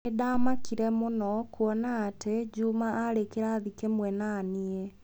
Nĩ ndaamakire mũno kuona atĩ Juma aarĩ kĩrathi kĩmwe na niĩ